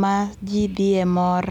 ma jii dhie mor